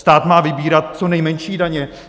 Stát má vybírat co nejmenší daně.